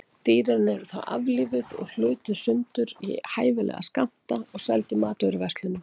Dýrin eru þá aflífuð og hlutuð sundur í hæfilega skammta og seld í matvöruverslunum.